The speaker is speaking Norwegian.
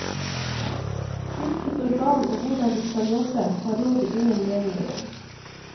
Hvilket organ og hvordan de skal jobbe, har rådet ingen meninger om.